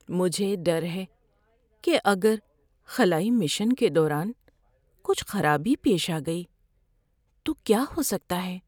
مجھے ڈر ہے کہ اگر خلائی مشن کے دوران کچھ خرابی پیش آ گئی تو کیا ہو سکتا ہے۔